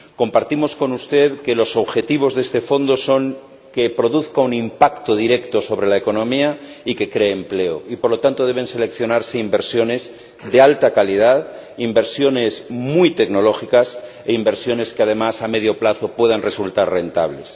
Compartimos con usted que los objetivos de este fondo son que produzca un impacto directo sobre la economía y que cree empleo y, por lo tanto, deben seleccionarse inversiones de alta calidad, inversiones muy tecnológicas e inversiones que, además, a medio plazo puedan resultar rentables.